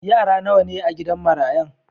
Yara nawa ne a'gidan marayan?